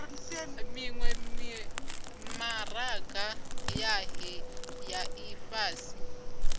miwe mimaraga yohe ya ifhasi